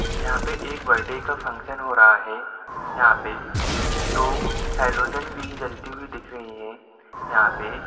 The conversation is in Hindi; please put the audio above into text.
यहाँ पर एक बार्थडे का फक्शन हो रहा है। यंहा पे दो हलोजन भी जलती दीकह रही है यंहा पे--